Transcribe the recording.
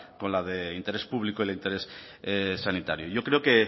con la de interés público y el de interés sanitario yo creo que